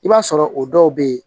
I b'a sɔrɔ o dɔw be yen